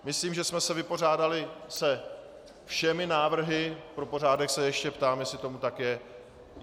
Myslím, že jsme se vypořádali se všemi návrhy, pro pořádek se ještě ptám, jestli tomu tak je.